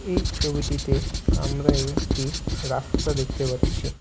এই ছবিটিতে আমরা একটি রাস্তা দেখতে পাচ্ছি।